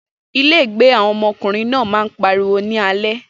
Ilégbèé àwọn ọmọkùnrin náà máa ń pariwo ní alẹ́.